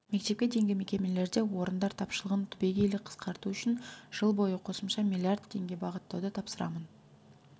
мектепке дейінгі мекемелерде орындар тапшылығын түбегейлі қысқарту үшін жыл бойы қосымша миллиард теңге бағыттауды тапсырамын